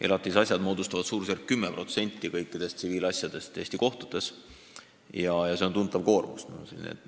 Elatise asjad moodustavad suurusjärgus 10% kõikidest tsiviilasjadest Eesti kohtutes ja see on tuntav koormus.